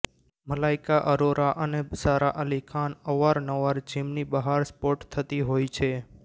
મલાઇકા અરોરા અને સારા અલી ખાન અવારનવાર જીમની બહાર સ્પોટ થતી હોય છે